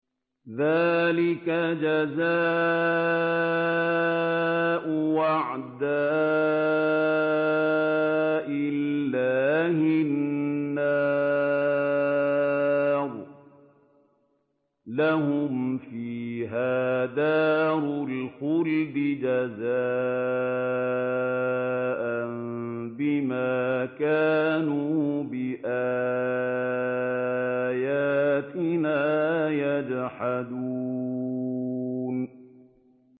ذَٰلِكَ جَزَاءُ أَعْدَاءِ اللَّهِ النَّارُ ۖ لَهُمْ فِيهَا دَارُ الْخُلْدِ ۖ جَزَاءً بِمَا كَانُوا بِآيَاتِنَا يَجْحَدُونَ